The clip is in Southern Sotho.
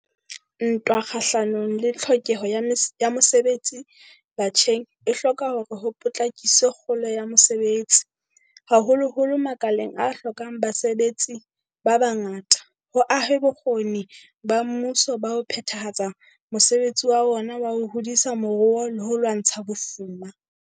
Ntwa kgahlano le tlhokeho ya mosebetsi batjheng e hloka hore ho potlakiswe kgolo ya mosebetsi, haholoholo makaleng a hlokang basebetsi ba bangata, ho ahwe bokgoni ba mmuso ba ho phethahatsa mosebetsi wa ona wa ho hodisa moruo le ho lwantsha bofuma.